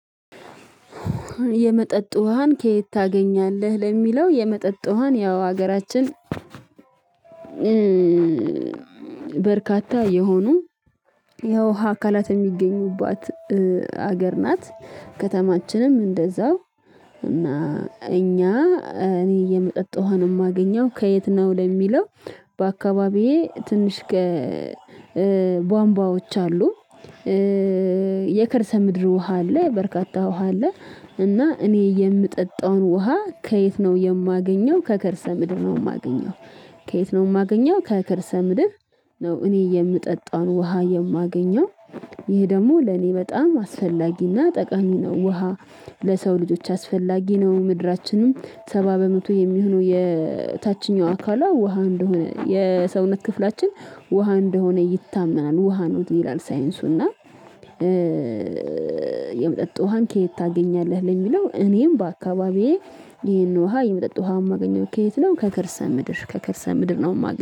የመጠጥ ውሃን ከየት ታገኛለህ? ለሚለው የመጠጥ ውሃን ያው ሀገራችን በርካታ የሆኑ የውሃ አካላት የሚገኙባት ሀገር ናት። ከተማችንም እንደዛው እና እኛ እኔ የመጠጥ ውሃን የማገኘው ከየት ነው? ለሚለው በአካባቢዬ ትንሽ ቧንቧዎች አሉ። የከርሰ ምድር ውሃ አለ በርካታ ውሃ አለ። እና እኔ የምጠጣውን ውሃ ከየት ነው የማገኘው ከከርሰ ምድር ነው የማገኘው። ከየት ነው የማገኘው ከከርሰ ምድር ነው። እኔ የምጠጣውን ውሃ የማገኘው ይሄ ደግሞ ለኔ በጣም አስፈላጊና ጠቃሚ ነው። ውሃ ለሰው ልጆች አስፈላጊ ነው። ምድራችንም ሰባ በመቶ የሚሆነው የታችኛው አካሏ ውሃ እንደሆነ የሰውነት ክፍላችን ውሃ እንደሆነ ይታመናል ውሃ ነው ይላል ሳይንሱና። የመጠጥ ውሃን ከየት ታገኛለህ? ለሚለው እኔም በአካባቢዬ ይሄን ውሃ የምጠጥ ውሃ የማገኘው ከየት ነው ከከርስምድር ከከርሰ ምድር ነው የማገኘው